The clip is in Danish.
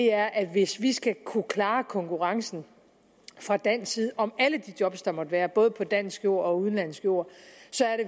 er at hvis vi skal kunne klare konkurrencen fra dansk side om alle de job der måtte være både på dansk jord og på udenlandsk jord så er det